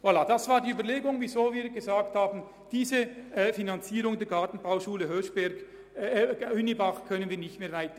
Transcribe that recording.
Deshalb haben wir gesagt, wir könnten diese Finanzierung der Gartenbauschule Hünibach nicht mehr weiterführen.